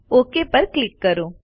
okay પર ક્લિક કરો